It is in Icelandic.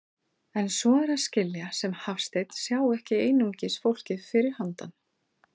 En svo er að skilja sem Hafsteinn sjái ekki einungis fólkið fyrir handan.